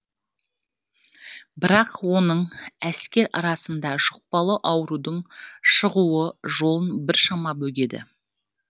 бірақ оның әскер арасында жұқпалы аурудың шығуы жолын біршама бөгеді